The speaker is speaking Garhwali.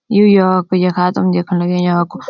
यु यो यखा तुम देखण लग्याँ या कु --